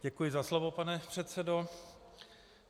Děkuji za slovo, pane předsedo.